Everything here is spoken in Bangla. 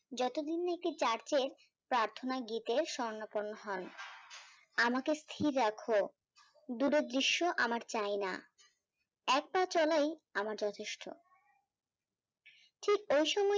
যতদিন না একটি church এর প্রার্থনা গীতে স্বর্ণপন হন আমাকে স্থির রাখো দুরো দিশ্ব আমার চাইনা এক পা চোলাই আমার যথেষ্ট ঠিক ওই সময়